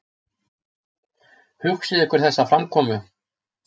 Hugsið ykkur þessa framkomu!